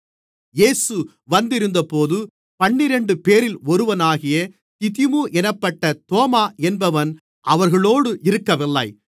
இயேசு வந்திருந்தபோது பன்னிரண்டுபேரில் ஒருவனாகிய திதிமு என்னப்பட்ட தோமா என்பவன் அவர்களோடு இருக்கவில்லை